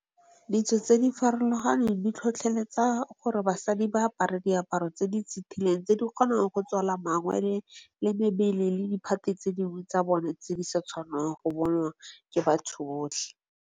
Ditso tse di farologaneng di tlhotlheletsa gore basadi ba apare diaparo tse di setileng tse di kgonang go tswala mangwele, le mebele, le di phate tse dingwe tsa bone tse di sa tshwanelang go bonwa ke batho botlhe.